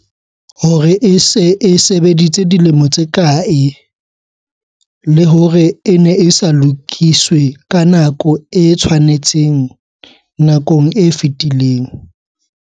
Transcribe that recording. Hore e se e sebeditse dilemo tse kae, le hore e ne e sa lokiswe ka nako e tshwanetseng nakong e fetileng.